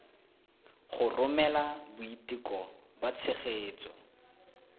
go romela boiteko ba tshegetso